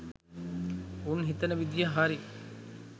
උන් හිතන විදිහ හරි